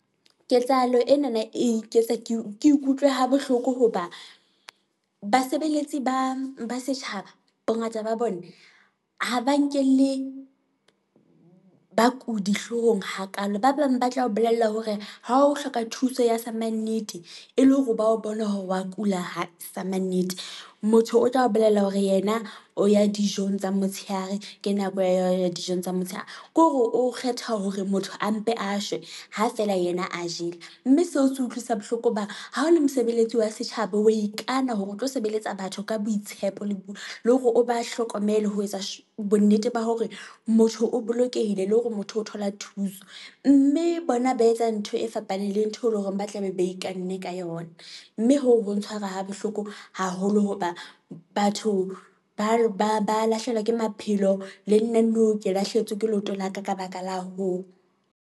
Ketsahalo enana e iketsa ke ikutlwe ha bohloko hoba, basebeletsi ba setjhaba bongata ba bona ha ba nkele bakudi hloohong hakalo, ba bang ba tla o bolella hore ha o hloka thuso ya sa mannete, e le hore ba o bona hore wa kula ha sa mannete, motho o tla o bolella hore yena o ya dijong tsa motshehare ke nako ya yona dijong tsa motshehare. Ke hore o kgetha hore motho a mpe a shwe ha feela yena a jele, mme seo se utlwisa bohloko hobane ha o le mosebeletsi wa setjhaba, wa ikana hore o tlo sebeletsa batho ka boitshepo le , le hore o ba hlokomele ho etsa bonnete ba hore motho o bolokehile le hore motho o thola thuso, mme bona ba etsa ntho e fapaneng le ntho e leng hore ba tlabe ba ikanne ka yona. Mme hoo ho ntshwara ha bohloko haholo hoba batho ba lahlehelwa ke maphelo, le nna nou ke lahlehetswe ke leoto la ka, ka baka la hoo.